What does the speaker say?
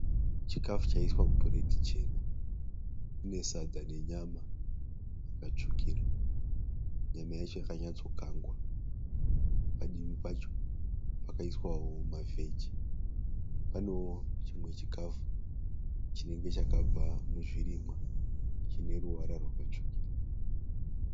Chikafu chaiswa mupureti chena. Mune sadza nenyama yakatsvukira. Nyama yacho yakanyatsokakwa. Padivi pacho pakaiswawo mavheji. Panewo chimwe chikafu chinenge chakabva muzvirimwa chine ruvara rwakatsvukira.